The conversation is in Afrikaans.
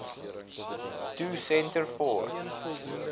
to centre for